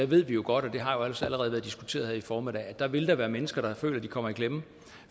ved vi jo godt og det har også allerede været diskuteret her i formiddag at der vil være mennesker der føler de kommer i klemme